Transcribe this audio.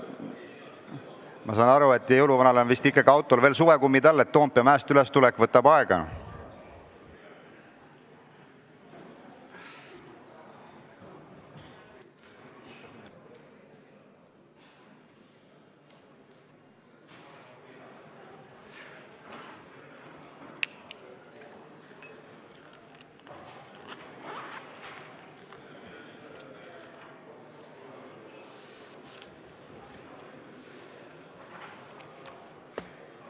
Ma saan aru, et jõuluvana autol on vist veel suvekummid all, Toompea mäest üles tulemine võtab aega.